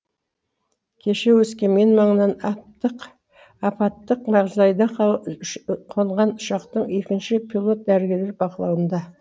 кеше өскемен маңына апаттық мағдайда қонған ұшақтағы екінші пилот дәрігерлер бақылауында